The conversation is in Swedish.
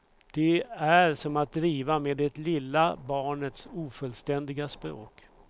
Det är som att driva med det lilla barnets, ofullständiga språk.